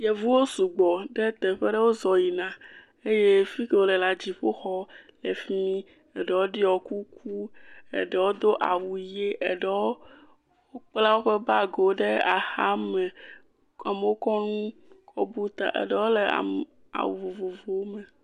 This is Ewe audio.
Yeuvuwo sugbɔ ɖe teƒe aɖe, wozɔ yina eye fi ke wole la dziƒoxɔ le fi mi, eɖewo ɖɔ kuku, eɖewo do awu ʋe, eɖewo kpla wobe bagiwo ɖe axame. Amewo kɔ nu kɔ bu ta, eɖewo le awu vovovowo me.